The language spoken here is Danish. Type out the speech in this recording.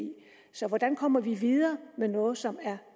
så hvordan kommer vi videre med noget som er